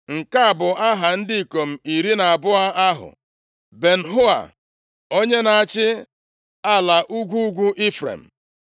Nke a bụ aha ndị ikom iri na abụọ ahụ. Ben-Hua, onye na-achị ala ugwu ugwu Ifrem.